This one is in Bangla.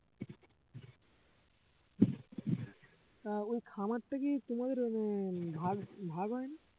তা ওই খামারটা কি তোমাদের আহ ভাগ~ ভাগ হয়নি?